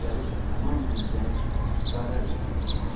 Gözləri isə tamamilə gənc, qara rəngdə.